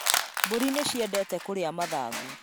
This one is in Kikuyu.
Mbũri nĩ cĩendete kũria mathangũ